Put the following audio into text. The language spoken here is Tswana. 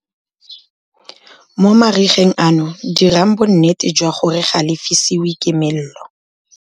Mo marigeng ano dirang bonnete jwa gore ga le fisiwe ke molelo.